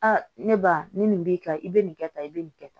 Aa ne ba ni nin b'i kan i bɛ nin kɛ tan i bɛ nin kɛ tan